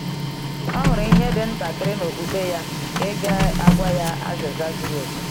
Ọ hụrụ ihe dị ntakịrị n’okpukpe ya nke ga-agwa ya azịza zuru oke.